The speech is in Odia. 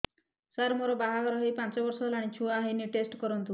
ସାର ମୋର ବାହାଘର ହେଇ ପାଞ୍ଚ ବର୍ଷ ହେଲାନି ଛୁଆ ହେଇନି ଟେଷ୍ଟ କରନ୍ତୁ